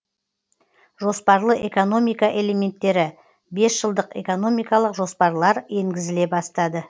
жоспарлы экономика элементтері бесжылдық экономикалық жоспарлар енгізіле бастады